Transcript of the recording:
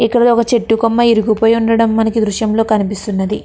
ఇక్కడ ఒక చెట్టు కొమ్మ విరిగిపోయివుండడం మనకి ఈ దృశ్యంలో కనిపిస్తున్నది.